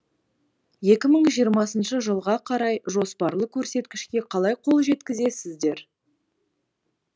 екі мың жиырмасыншы жылға қарай жоспарлы көрсеткішке қалай қол жеткізесіздер